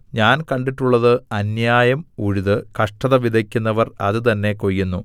ഞാൻ കണ്ടിട്ടുള്ളത് അന്യായം ഉഴുത് കഷ്ടത വിതയ്ക്കുന്നവർ അതുതന്നെ കൊയ്യുന്നു